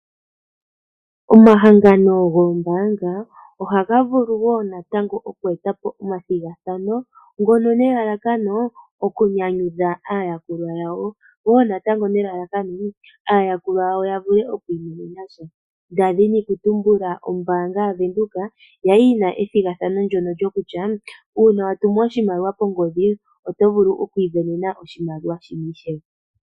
Omahangano goombaanga, ohaga vulu wo natango okweeta po omathigathano, ngono nelalakano okunyanyudha aayakulwa yawo, wo natango nelalakano, aayakulwa yawo ya vule okwi imonena sha. Nda dhini okutumbula ombaanga yaVenduka, ya li yi na ethigathano ndyono lyokutya, uuna wa tumu oshimaliwa kongodhi, oto vulu okwi ivenena oshimaliwa shimwe ishewe.